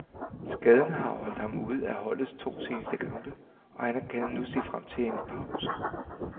Skaden har holdt ham ude af holdets to seneste kampe, og han kan nu se frem til endnu en pause.